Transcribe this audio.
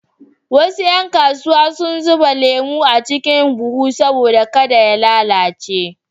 Wasu ƴan kasuwa sun zuba lemon a cikin buhu domin kada ya lalace.